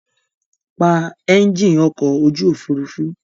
Pa ẹ́ńjìn ọkọ̀ ojú òfurufú!